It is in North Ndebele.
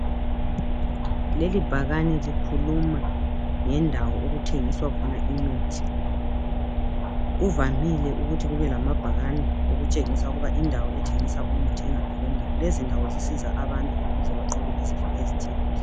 Leli bhakani likhuluma ngendawo okuthengiswa khona imithi. Kuvamile ukuthi kube lamabhakani okutshengisa ukuba indawo ethengisa umuthi ingaphi kwendawo. Lezi ndawo zisiza abantu ukuze banqobe izifo ezithile.